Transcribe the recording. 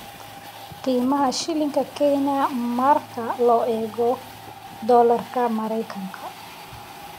qiimaha shilinka Kenya marka loo eego dollarka Maraykanka